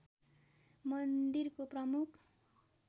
मन्दिरको प्रमुख